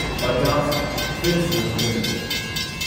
Bajaj Finserv limited